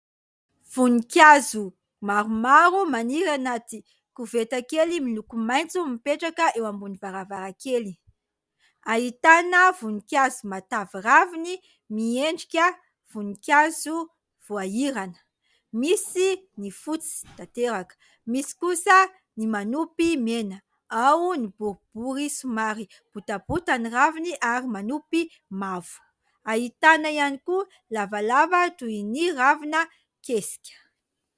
Voninkazo maromaro maniry anaty koveta kely miloko maitso mipetraka eo ambony varavarankely. Ahitana voninkazo matavy raviny miendrika voninkazo voahirana. Misy ny fotsy tanteraka, misy kosa ny manopy mena. Ao ny boribory somary botabota ny raviny ary manopy mavo. Ahitana ihany koa lavalava toy ny ravina kesika.